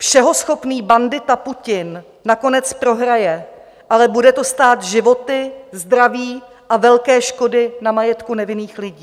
Všeho schopný bandita Putin nakonec prohraje, ale bude to stát životy, zdraví a velké škody na majetku nevinných lidí.